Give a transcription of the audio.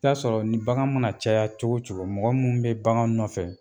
I bɛ ta'a sɔrɔ ni bagan mana caya cogo o cogo mɔgɔ minnu bɛ bagan nɔfɛ